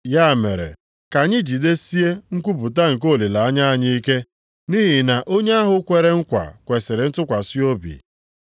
Ya mere, ka anyị jidesie nkwupụta nke olileanya anyị ike, nʼihi na onye ahụ kwere nkwa kwesiri ntụkwasị obi.